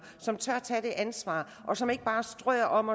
som tør tage det ansvar og som ikke bare strør om